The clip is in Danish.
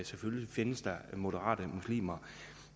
selvfølgelig findes moderate muslimer